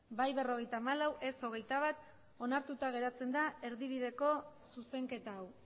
bai berrogeita hamalau ez hogeita bat onartuta geratzen da erdibideko zuzenketa hau